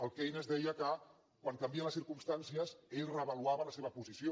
el keynes deia que quan canvien les circumstàncies ell reavaluava la seva posició